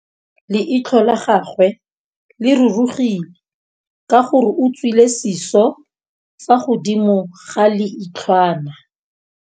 Leitlhô la gagwe le rurugile ka gore o tswile sisô fa godimo ga leitlhwana.